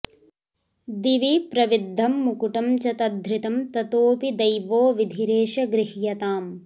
दिवि प्रविद्धं मुकुटं च तद्धृतं ततोऽपि दैवो विधिरेष गृह्यताम्